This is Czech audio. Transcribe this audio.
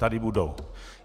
Tady budou.